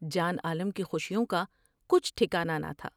جان عالم کی خوشیوں کا کچھ ٹھکانا نہ تھا ۔